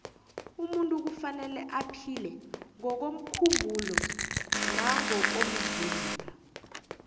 umunt kufanele aphile ngokomkhumbulo nangokomzimba